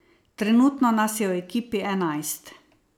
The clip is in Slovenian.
Trenutno nas je v ekipi enajst.